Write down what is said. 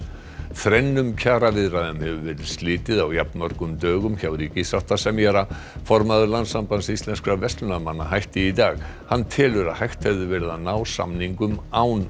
þrennum kjaraviðræðum hefur verið slitið á jafnmörgum dögum hjá ríkissáttasemjara formaður Landssambands íslenskra verslunarmanna hætti í dag hann telur að hægt hefði verið að ná samningum án